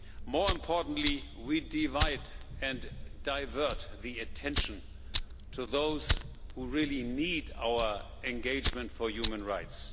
More importantly, we divide and divert the attention given to those who really need our engagement for human rights.